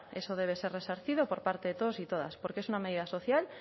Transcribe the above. eso debe ser resarcido por parte de todos y todas porque es una medida social